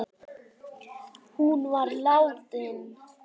Hún var látin.